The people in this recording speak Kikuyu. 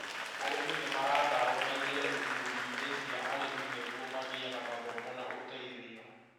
Arĩmi ni maratarũo maingĩre ikundi-inĩ cia arĩmi nĩguo magĩe na mathomo na ũteithio